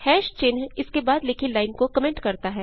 चिन्ह इसके बाद लिखी लाइन को कमेंट करता है